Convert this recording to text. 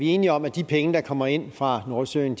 enige om at de penge der kommer ind fra nordsøen